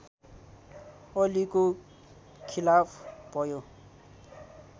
अलीको खिलाफ भयो